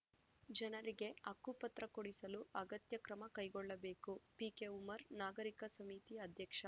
ಜನರಿಗೆ ಹಕ್ಕುಪತ್ರ ಕೊಡಿಸಲು ಅಗತ್ಯ ಕ್ರಮ ಕೈಗೊಳ್ಳಬೇಕು ಪಿಕೆಉಮ್ಮರ್‌ ನಾಗರಿಕ ಸಮಿತಿ ಅಧ್ಯಕ್ಷ